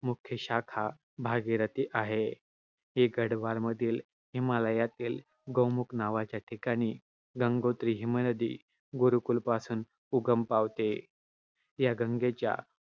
मुख्य शाखा भागीरथी नदी आहे. ही गढवाल मधील हिमालयातील गौमुख नावाच्या ठिकाणी गंगोत्री हिमनदी गुरुकुल पासून उगम पावते. या गंगेच्या उगमस्थानाची